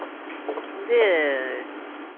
இது